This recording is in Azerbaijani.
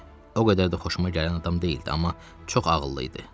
O qədər də xoşuma gələn adam deyildi, amma çox ağıllı idi.